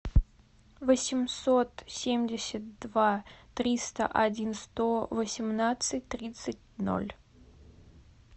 восемьсот семьдесят два триста один сто восемнадцать тридцать ноль